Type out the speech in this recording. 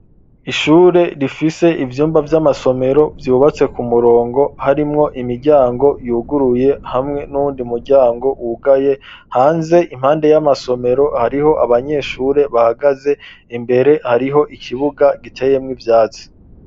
ishure rifise ivyumba vy'amasomero vyubatse ku murongo harimwo imiryango yuguruye hamwe n'uwundi muryango wugaye hanze impande y'amasomero hariho abanyeshure bahagaze imbere hariho ikibuga giteyemwo ivyatsi.